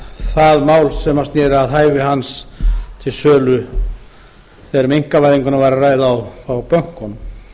það mál sem sneri að hæfi hans til sölu þegar um einkavæðinguna var að ræða á bönkunum